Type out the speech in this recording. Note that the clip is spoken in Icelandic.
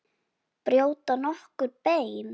Brjóta nokkur bein?